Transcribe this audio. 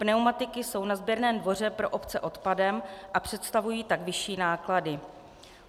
Pneumatiky jsou na sběrném dvoře pro obce odpadem a představují tak vyšší náklady.